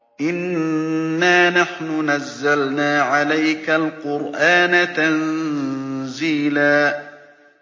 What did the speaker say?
إِنَّا نَحْنُ نَزَّلْنَا عَلَيْكَ الْقُرْآنَ تَنزِيلًا